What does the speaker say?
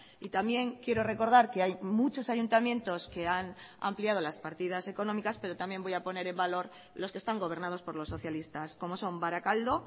y también quiero recordar que hay muchos ayuntamientos que han ampliado las partidas económicas pero también voy a poner en valor los que están gobernados por los socialistas como son barakaldo